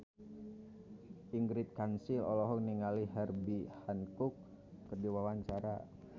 Ingrid Kansil olohok ningali Herbie Hancock keur diwawancara